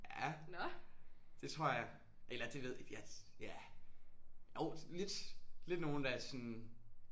Ja det tror jeg. Eller det ved ja ja jo lidt lidt nogle der sådan